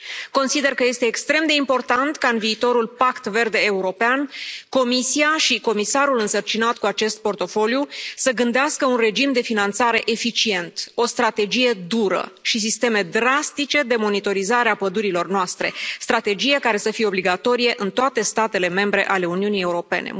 Consider că este extrem de important ca în viitorul Pact Verde European, Comisia și comisarul însărcinat cu acest portofoliu să gândească un regim de finanțare eficient, o strategie dură și sisteme drastice de monitorizare a pădurilor noastre, strategie care să fie obligatorie în toate statele membre ale Uniunii Europene.